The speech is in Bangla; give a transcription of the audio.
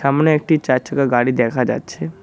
সামনে একটি চারচাকা গাড়ি দেখা যাচ্ছে।